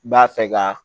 B'a fɛ ka